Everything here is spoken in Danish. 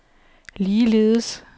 ligeledes